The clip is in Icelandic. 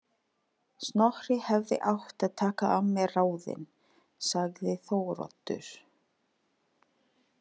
Snorri hefði átt að taka af mér ráðin, sagði Þóroddur.